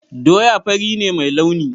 Doya fari ne mai launi.